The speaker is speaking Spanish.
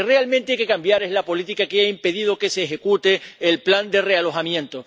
Lo que realmente hay que cambiar es la política que ha impedido que se ejecute el plan de realojamiento.